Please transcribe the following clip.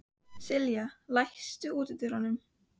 Sylgja, læstu útidyrunum.